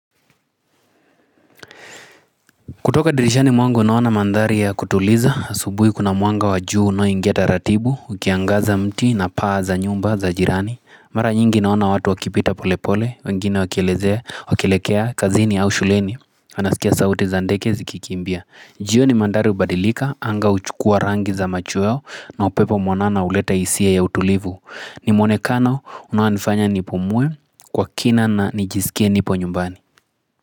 Kutoka dirishani mwangu naona mandhari ya kutuliza, asubuhi kuna mwanga wa jua unaoingia taratibu, ukiangaza mti na paa za nyumba za jirani. Mara nyingi naona watu wakipita pole pole, wengine wakielekea kazini au shuleni. Na nasikia sauti za ndege zikikimbia. Jioni mandhari hubadilika, anga huchukua rangi za machweo na upepo mwanana huleta hisia ya utulivu. Nimwonekana unaonifanya nipumue, kwa kina na nijisikie nipo nyumbani.